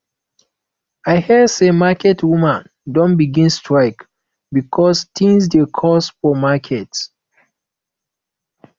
i hear sey market women don begin strike because tins dey cost for market